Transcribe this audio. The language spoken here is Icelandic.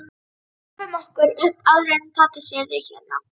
Drífum okkur upp áður en pabbi sér þig hérna